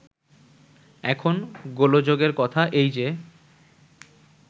এখন গোলযোগের কথা এই যে